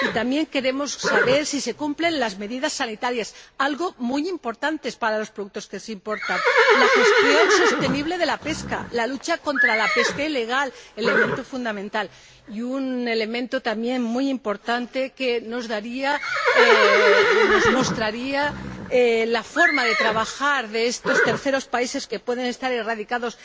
Y también queremos saber si se cumplen las medidas sanitarias ―algo muy importante para los productos que se importan―, la gestión sostenible de la pesca, la lucha contra la pesca ilegal ―elemento fundamental― y un elemento también muy importante que nos mostraría la forma de trabajar de estos terceros países que pueden estar radicados